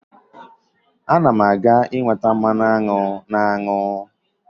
M ga-enweta mmanụ aṅụ na aṅụ